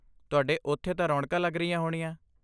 ਤੁਹਾਡੇ ਉੱਥੇ ਤਾਂ ਰੌਣਕਾਂ ਲੱਗ ਰਹੀਆਂ ਹੋਣੀਆਂ।